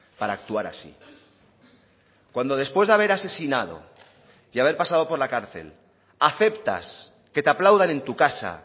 para actuar así cuando después de haber asesinado y haber pasado por la cárcel aceptas que te aplaudan en tu casa